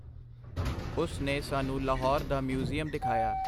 ਉਸ ਨੇ ਸਾਨੂੰ ਲਾਹੌਰ ਦਾ ਮਿਊਜ਼ੀਅਮ ਦਿਖਾਇਆ.